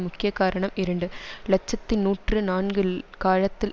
முக்கிய காரணம் இரண்டு இலட்சத்தி நூற்றி நான்கு காலத்தில்